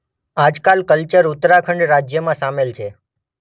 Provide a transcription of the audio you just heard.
આજકાલ કલ્યર ઉત્તરાખંડ રાજયમાં શામેલ છે.